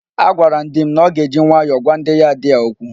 Agwara m di m na ọ ga-eji nwayọọ gwa ndị yad a okwu.